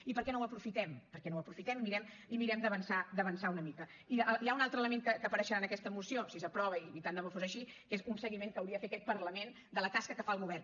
i per què no ho aprofitem per què no ho aprofitem i mirem d’avançar una mica i hi ha un altre element que apareixerà en aquesta moció si s’aprova i tant de bo fos així que és un seguiment que hauria de fer aquest parlament de la tasca que fa el govern